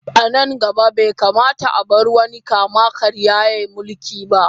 A nan gaba, bai kamata a bar wani kama-karya ya yi mulki ba.